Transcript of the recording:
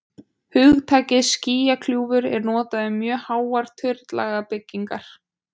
Hugtakið skýjakljúfur er notað um mjög háar turnlaga byggingar.